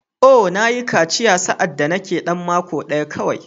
Oh! Na yi kaciya sa’ad da nake ɗan mako ɗaya kawai.